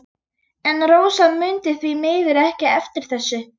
En Rósa mundi því miður ekki eftir þessu.